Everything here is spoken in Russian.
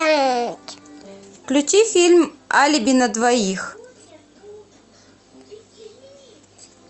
включи фильм алиби на двоих